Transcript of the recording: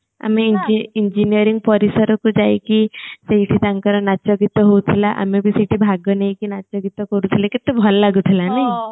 ଆମେ engineering ପରିସର କୁ ଯାଇକି ଯୋଉଠି ତାଙ୍କର ନାଚ ଗୀତ ହଉଥିଲା ଆମେ ବି ସେଇଠି ଭାଗ ନେଇକି ନାଚ ଗୀତ କରୁଥିଲେ କେତେ ଭଲ ଲାଗୁଥିଲା ନା